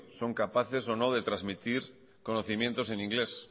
son capaces o no de transmitir conocimiento en inglés